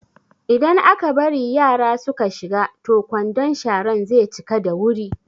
Idan aka bari yara su ka shiga toh kwandon sharan ze cika da wuri